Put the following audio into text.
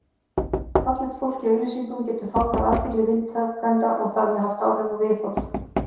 Fallegt fólk í auglýsingum getur fangað athygli viðtakenda og þar með haft áhrif á viðhorf.